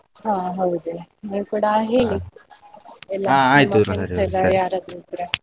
ಹಾ ಹೌದು ನೀವು ಕೂಡ ಹೇಳಿ friends ಎಲ್ಲ ಯಾರಾದ್ರೂ ಇದ್ರೆ.